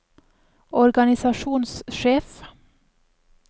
organisasjonssjef